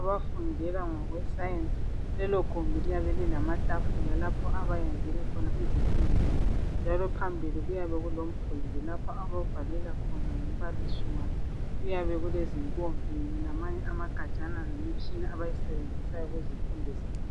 abafundela ngokwe science lelo gumbi liyabe lilamatafula lapho bayenzele khona izifundo zabo njalo phambili kuyabe kulomgwembe ababhalelwa khona ngumbalii wabo kuyabe kulezi mpompi lamanye amagajana leminye imitshina abayisebenzisayo kuzifundo zabo